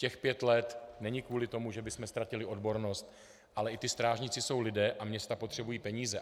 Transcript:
Těch pět let není kvůli tomu, že bychom ztratili odbornost, ale i ti strážníci jsou lidé a města potřebují peníze.